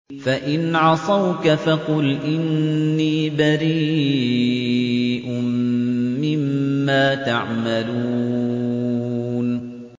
فَإِنْ عَصَوْكَ فَقُلْ إِنِّي بَرِيءٌ مِّمَّا تَعْمَلُونَ